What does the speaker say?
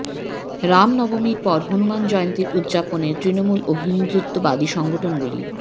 রাম নবমীর পর হনুমান জয়ন্তীর উদযাপনে তৃণমূল ও হিন্দুত্ববাদী সংগঠনগুলি